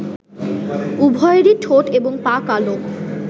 উভয়েরই ঠোঁট এবং পা কালো